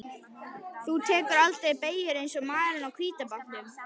Þú tekur aldrei beygjur eins og maðurinn á hvíta bátnum.